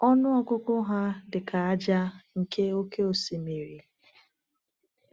Ọnụ ọgụgụ ha dị ka ájá nke oké osimiri.